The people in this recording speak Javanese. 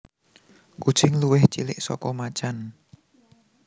Kucing luwih cilik saka macan